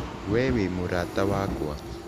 We wĩ mũrata wakwa.